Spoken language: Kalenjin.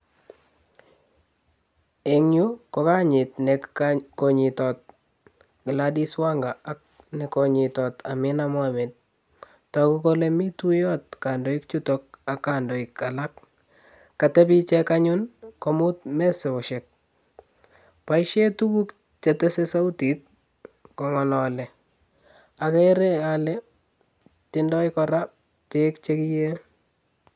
Eng yuu ko kanyiit ne kanyitot Gladys Wanga ako ne kanyitot Amina Mohammed, toku kole mi tuiyot kandoik chuto ak kandoik alak. Katepi ichek anyun komut mesosiek. Boishe tuguk che tesei sautit kongalei, ageere ale tindoi kora beek che kiei.